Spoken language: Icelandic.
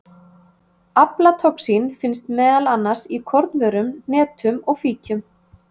Aflatoxín finnst meðal annars í kornvörum, hnetum og fíkjum.